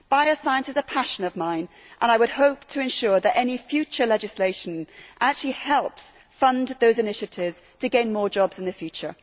Bioscience is a passion of mine, and I would hope to ensure that any future legislation actually helps fund those initiatives to gain more jobs in the future.